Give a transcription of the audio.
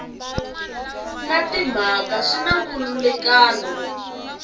na timhaka swi na nkhulukelano